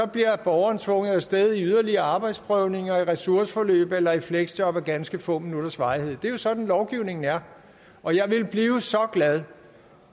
bliver borgeren tvunget af sted i yderligere arbejdsprøvninger ressourceforløb eller fleksjob af ganske få minutters varighed det er jo sådan lovgivningen er og jeg ville blive så glad